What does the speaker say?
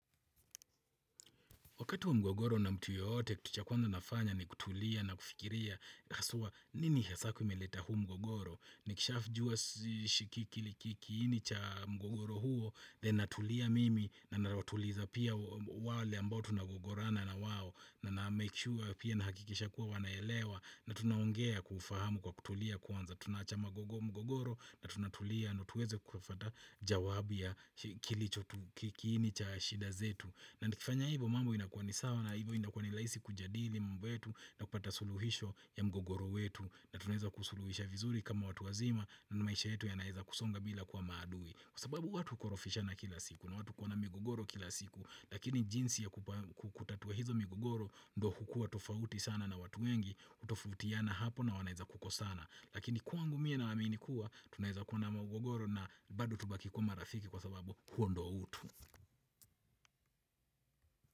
Wakati wa mgogoro na mtu yoyote, kitu cha kwanza nafanya ni kutulia na kufikiria haswa nini hasaa kumeleta huu mgogoro nikishajua Shikiki likiki, kiini cha mgogoro huo, then natulia mimi, na natuliza pia wale ambao tunagogorana na wao, na namake sure pia nahakikisha kuwa wanaelewa na tunaongea kwa ufahamu kwa kutulia kwanza, tunaacha magogo mgogoro na tunatulia ndio tuweze kufwata jawabu ya Kilicho tu kiini cha shida zetu, na nikifanya hivyo mambo inakuwa ni sawa na hivyo inakuwa ni sawa na hivyo inakuwa ni rahisi kujadili mambo yetu, na kupata suluhisho ya mgogoro wetu, na tunaweza kusuluhisha vizuri kama watu wazima na maisha yetu yanaeza kusonga bila kuwa maadui. Kwa sababu watu hukorofishana kila siku, na watu hukuwa na mgogoro kila siku, lakini jinsi ya kutatua hizo migogoro ndio hukua tofauti sana na watu wengi, hutofautiana hapo na wanaweza kukosana. Lakini kwangu mie naamini kuwa tunaweza kuwa na mgogoro na bado tubaki kuwa marafiki kwa sababu huo ndio utu.